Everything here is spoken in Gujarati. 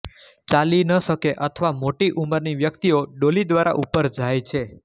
ચાલી ન શકે અથવા મોટી ઉંમરની વ્યક્તિઓ ડોલી દ્વારા ઉપર જાય છે